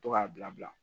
To k'a bila bila